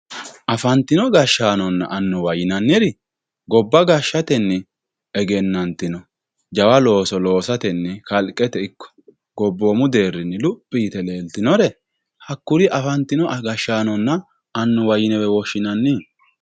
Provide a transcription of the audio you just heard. afantino gashshaanonna annuwa yinanniri gobba gashshatenni egennante jawa looso loosatenni gobbate deerrinni kalqete luphi yite leeltinore hakkuri afantino gashshaanonna annuwa yinewe woshshinanni